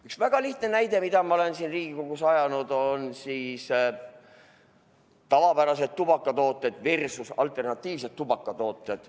Üks väga lihtne näide, mida ma olen siin Riigikogus mitu korda toonud, on tavapärased tubakatooted versus alternatiivsed tubakatooted.